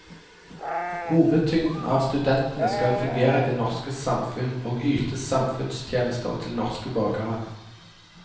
Hovedtyngden av studentene skal fungere i det norske samfunn og yte samfunnstjenester til norske borgere.